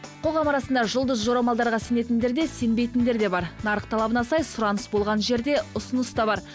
қоғам арасында жұлдыз жорамалдарға сенетіндер де сенбейтіндер де бар нарық талабына сай сұраныс болған жерде ұсыныс та бар